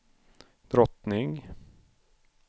drottning